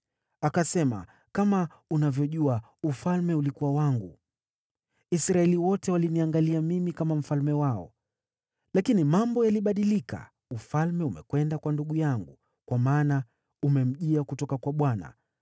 Akasema, “Kama unavyojua, ufalme ulikuwa wangu. Israeli wote waliniangalia mimi kama mfalme wao. Lakini mambo yalibadilika, ufalme umekwenda kwa ndugu yangu, kwa maana umemjia kutoka kwa Bwana .